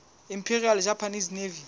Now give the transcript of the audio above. imperial japanese navy